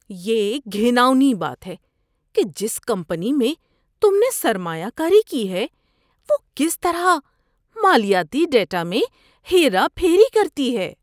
یہ گھناؤنی بات ہے کہ جس کمپنی میں تم نے سرمایہ کاری کی ہے وہ کس طرح مالیاتی ڈیٹا میں ہیرا پھیری کرتی ہے۔